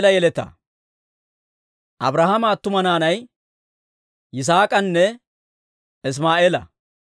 Abrahaama attuma naanay Yisaak'anne Isimaa'eela.